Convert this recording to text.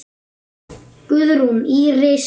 Guðrún Íris.